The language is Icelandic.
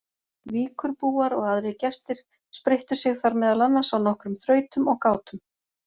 Víkurbúar og aðrir gestir spreyttu sig þar meðal annars á nokkrum þrautum og gátum.